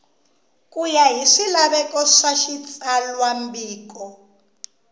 ya hi swilaveko swa xitsalwambiko